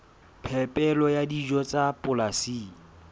phepelo ya dijo tsa polasing